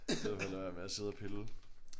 Så vil jeg lade være med at sidde og pille